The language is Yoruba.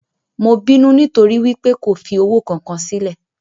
Mo binu nitori wípé ko fi owo kan kan silẹ.